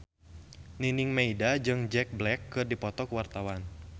Nining Meida jeung Jack Black keur dipoto ku wartawan